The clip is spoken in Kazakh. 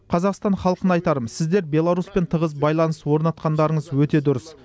қазақстан халқына айтарым сіздер беларусьпен тығыз байланыс орнатқандарыңыз өте дұрыс